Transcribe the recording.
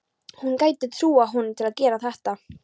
Hún gæti trúað honum til að gera þetta.